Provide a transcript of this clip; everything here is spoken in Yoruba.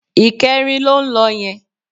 Ìkẹrin ló ń lọ yẹn